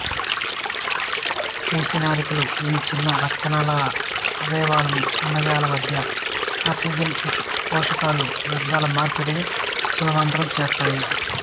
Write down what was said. కేశనాళికలు ఇవి చిన్న రక్త నాళాలు అవయవాలు కణజాలాల మధ్య ఆక్సిజన్ పోషకాలు వ్యర్థాల మార్పిడిని సులభతరం చేస్తాయి